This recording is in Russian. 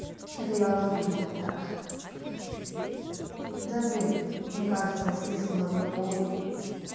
это я уже додумалась да да блин мне кажется василиск он однополый